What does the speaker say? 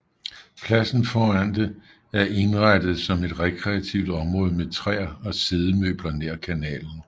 Pladsen foran det er indrettet som et rekreativ område med træer og siddemøbler nær kanalen